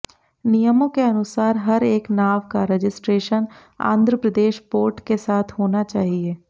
नियमों के अनुसार हर एक नाव का रजिस्ट्रेशन आंध्र प्रदेश पोर्ट के साथ होना चाहिए